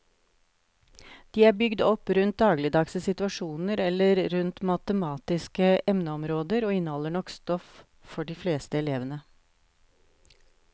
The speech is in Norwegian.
De er bygd opp rundt dagligdagse situasjoner eller rundt matematiske emneområder og inneholder nok stoff for de fleste elevene.